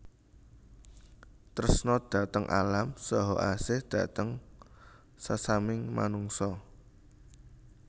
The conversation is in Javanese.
Tresna dhateng alam saha asih dhateng sesamining manungsa